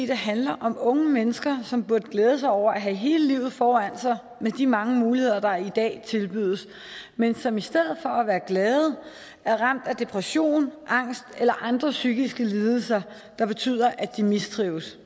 det handler om unge mennesker som burde glæde sig over at have hele livet foran sig med de mange muligheder der i dag tilbydes men som i stedet for at være glade er ramt af depression angst eller andre psykiske lidelser der betyder at de mistrives